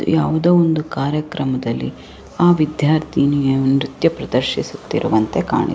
ಯಾವುದೋ ಒಂದು ಕಾರ್ಯಕ್ರಮದಲ್ಲಿ ಆ ವಿದ್ಯಾರ್ಥಿನಿ ನೃತ್ಯ ಪ್ರದರ್ಶಿಸುತಿರುವಂತೆ ಕಾಣಿ --